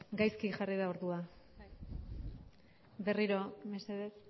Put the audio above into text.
gaizki jarri da ordua berriro mesedez